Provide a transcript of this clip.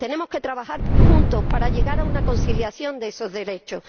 Tenemos que trabajar juntos para llegar a una conciliación de esos derechos.